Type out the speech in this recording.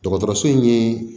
Dɔgɔtɔrɔso in ye